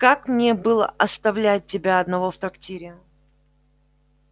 как мне было оставлять тебя одного в трактире